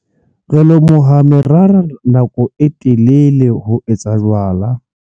Re lomoha merara nako e telele ho etsa jwala.